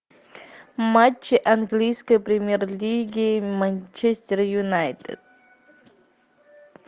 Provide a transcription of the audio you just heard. матчи английской премьер лиги манчестер юнайтед